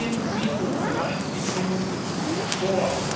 Wir ziehen sie um 30 Minuten vor.